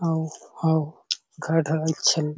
अऊ अउ घर ढलाई छ--